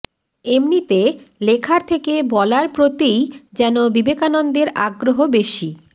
এমনিতে লেখার থেকে বলার প্রতিই যেন বিবেকানন্দের আগ্রহ বেশি